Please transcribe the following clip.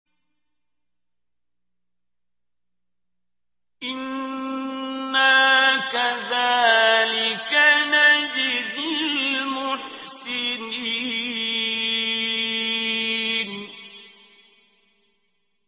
إِنَّا كَذَٰلِكَ نَجْزِي الْمُحْسِنِينَ